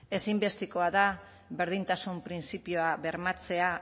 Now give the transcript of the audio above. ezinbestekoa da berdintasun printzipioa bermatzea